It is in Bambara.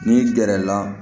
N'i gɛrɛ la